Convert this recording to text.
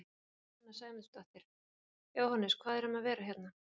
Sunna Sæmundsdóttir: Jóhannes hvað er um að vera hérna?